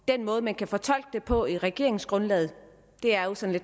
den måde man kan fortolke det på i regeringsgrundlaget er jo sådan